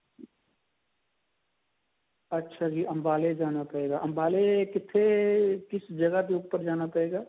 ਅੱਛਾ ਜੀ ਅੰਬਾਲੇ ਜਾਣਾ ਪਏਗਾ ਅੰਬਾਲੇ ਕਿੱਥੇ ਕਿਸ ਜਗ੍ਹਾ ਦੇ ਉੱਪਰ ਜਾਣਾ ਪਏਗਾ